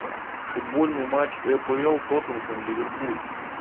футбольный матч апл тоттенхэм ливерпуль